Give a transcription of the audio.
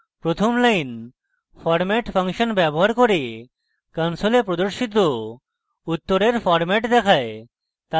প্রথম line format function ব্যবহার করে console প্রদর্শিত উত্তরের ফরম্যাট দেখায়